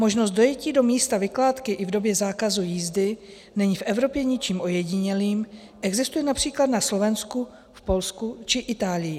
Možnost dojetí do místa vykládky i v době zákazu jízdy není v Evropě ničím ojedinělým, existuje například na Slovensku, v Polsku či Itálii.